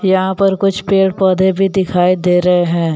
यहां पर कुछ पेड़ पौधे भी दिखाई दे रहे हैं।